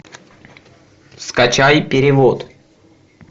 скачай перевод